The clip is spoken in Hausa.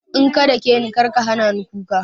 In ka dakeni karka hanani kuka